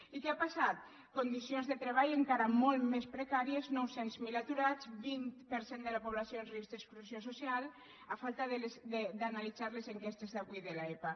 i què ha passat condicions de treball encara molt més precàries nou cents miler aturats vint per cent de la població en risc d’exclusió social a falta d’analitzar les enquestes d’avui de l’epa